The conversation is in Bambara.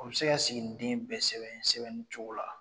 U bɛ se ka siginiden bɛɛ sɛbɛn sɛbɛnni cogo la.